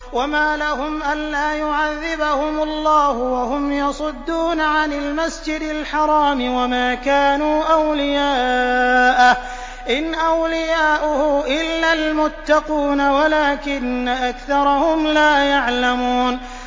وَمَا لَهُمْ أَلَّا يُعَذِّبَهُمُ اللَّهُ وَهُمْ يَصُدُّونَ عَنِ الْمَسْجِدِ الْحَرَامِ وَمَا كَانُوا أَوْلِيَاءَهُ ۚ إِنْ أَوْلِيَاؤُهُ إِلَّا الْمُتَّقُونَ وَلَٰكِنَّ أَكْثَرَهُمْ لَا يَعْلَمُونَ